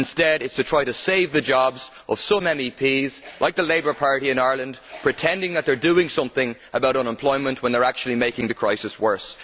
Instead, it is to try and save the jobs of some MEPs, like the Labour Party in Ireland, pretending that they are doing something about unemployment when they are actually making the crisis worse.